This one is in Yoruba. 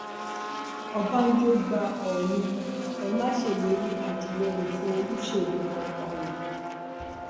ọbánjọ gba òòní ẹ ma ṣèlérí àtìlẹyìn fún olóṣèlú kankan o